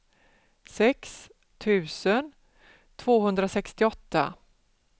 sex tusen tvåhundrasextioåtta